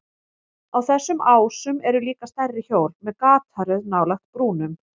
Á þessum ásum eru líka stærri hjól með gataröð nálægt brúnum.